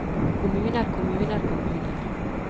kommuner kommuner kommuner